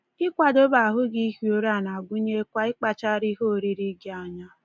Ịkwadobe ahụ gị ihi ụra na-agụnyekwa ịkpachara ihe oriri gị anya.